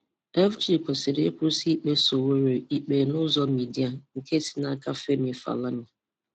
FG kwesịrị ịkwụsị ikpe Sowore ikpe n' ụzọ midia nke si n'aka Femi Falana.